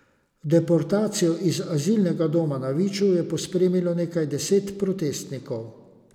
Deportacijo iz azilnega doma na Viču je pospremilo nekaj deset protestnikov.